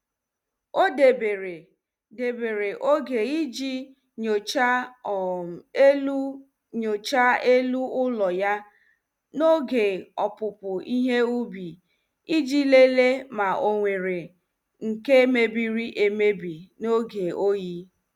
Ọ debere debere oge iji nyochaa um elu yochaa elu ụlọ ya n' oge opupu ihe ubi iji lelee ma ọ nwere nke mebiri emebi n' oge oyi.